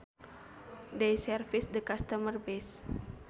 They service the customer base